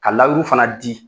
Ka layuru fana di